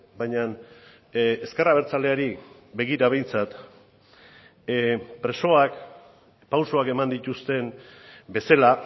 baina ezker abertzaleari begira behintzat presoak pausuak eman dituzten bezala